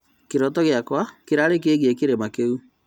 Kĩroto gĩakwa kĩrarĩ kĩgiĩ kĩrĩma kĩu